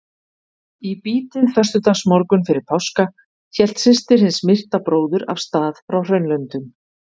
Í bítið föstudagsmorgunn fyrir páska hélt systir hins myrta bróður af stað frá Hraunlöndum.